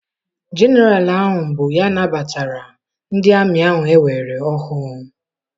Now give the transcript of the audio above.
Jeneral ahụ bụ ya nabatara ndị amị ahụ ewere ọhụụ.